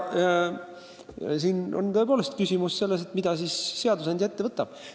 Nüüd on tõepoolest küsimus selles, mida siis seadusandja ette võtab.